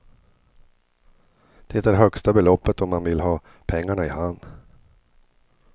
Det är högsta beloppet om man vill ha pengarna i hand.